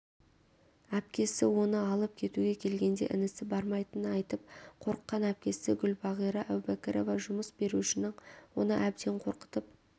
әпкесі оны алып кетуге келгенде інісі бармайтынын айтып қорыққан әпкесігүлбағира әубәкірова жұмыс берушінің оны әбден қорқытып